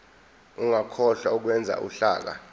ungakhohlwa ukwenza uhlaka